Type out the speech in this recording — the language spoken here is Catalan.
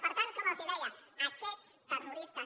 per tant com els deia aquests terroristes